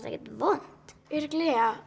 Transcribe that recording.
ekkert vont örugglega